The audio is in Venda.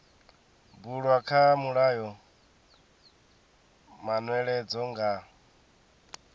bulwa kha mulayo manweledzo nga